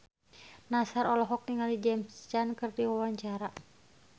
Nassar olohok ningali James Caan keur diwawancara